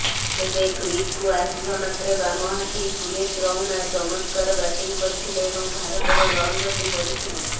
ତେବେ କ୍ରିଜ୍କୁ ଆସିବା ମାତ୍ରେ ବାମହାତି ସୁରେଶ ରୈନା ଚମତ୍କାର ବ୍ୟାଟିଂ କରିଥିଲେ ଏବଂ ଭାରତର ରନ୍ଗତି ବଢ଼ିଥିଲା